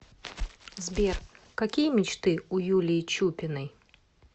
сбер какие мечты у юлии чупиной